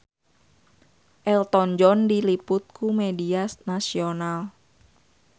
Elton John diliput ku media nasional